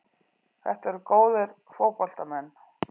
Þetta eru góðir fótboltamenn.